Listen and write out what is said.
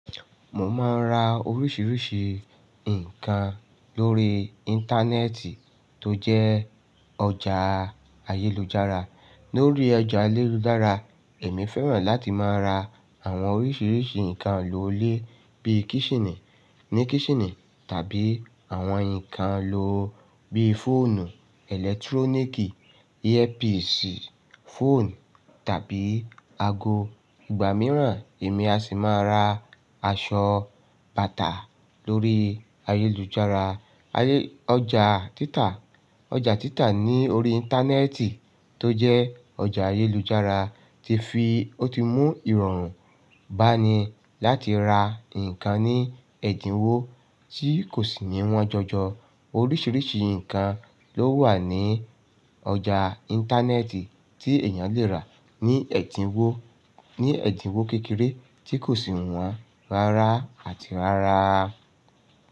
Mo máa ń ra oríṣiríṣi nǹkan lórí Íńtánẹ́ẹ̀tì tó jẹ́ ọjà ayélujára. Lórí ọjà ayélujára, èmi fẹ́ràn láti máa ra àwọn oríṣiríṣi nǹkan ló ilé bí kísínì ní kísínì tàbí àwọn nǹkan ló bí fóònù, ẹ̀lẹ́túróníkì, earpiece phone tàbí ago. Ìgbà mìíràn èmi a sì máa ra aṣọ, bàtà lórí ayélujára. Ayé ọjà títà, ọjà títà ní orí Íńtánẹ́ẹ̀tì tó jẹ́ ọjà ayélujára ti fi, ó ti mú ìrọ̀rùn bá ni láti ra nǹkan ní ẹ̀dínwó tí kò sì ní wọn jọjọ. Oríṣiríṣi nǹkan ló wà ní ọjà Íńtánẹ́ẹ̀tì tí èèyàn lè rà ní ẹ̀dínwó, ní ẹ̀dínwó kékeré tí kò sì wọ́n rárá àti rárá.